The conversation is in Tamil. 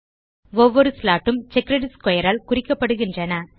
ஒவ்வொரு ஸ்லாட் ம் செக்கர்ட் ஸ்க்வேர் ஆல் குறிக்கப்படுகின்றன